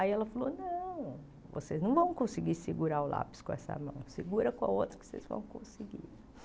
Aí ela falou, não, vocês não vão conseguir segurar o lápis com essa mão, segura com a outra que vocês vão conseguir.